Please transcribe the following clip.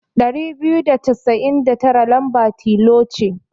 Ɗari biyu da casain da tara lamba tilo ce.